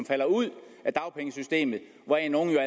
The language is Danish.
falder ud af dagpengesystemet hvoraf nogle jo